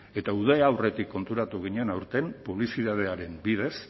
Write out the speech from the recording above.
eta uda aurretik konturatu ginen aurten publizitatearen bidez